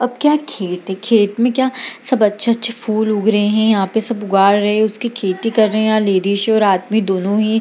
अब क्या खेत-खेत में क्या सब अच्छे-अच्छे फूल उग रहे हैं यहाँ पर सब उगा रहे हैं उसकी खेती कर रहे हैं लेडीज और आदमी दोनों ही --